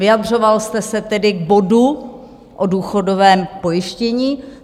Vyjadřoval jste se tedy k bodu o důchodovém pojištění.